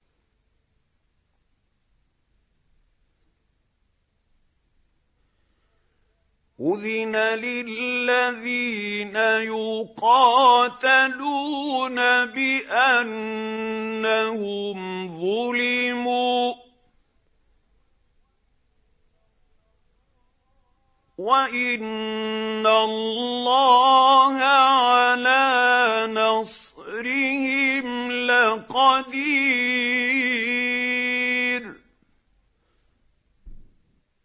أُذِنَ لِلَّذِينَ يُقَاتَلُونَ بِأَنَّهُمْ ظُلِمُوا ۚ وَإِنَّ اللَّهَ عَلَىٰ نَصْرِهِمْ لَقَدِيرٌ